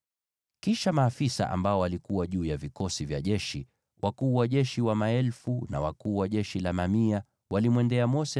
Kisha maafisa waliokuwa juu ya vikosi vya jeshi, wakuu wa jeshi wa maelfu na wakuu wa jeshi wa mamia, walimwendea Mose